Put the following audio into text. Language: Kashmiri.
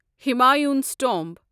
ہُمایُنز ٹومب